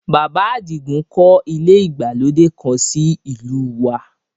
Bàbá Àdìgún kọ́ ilé ìgbàlódé kan sí ìlú u wa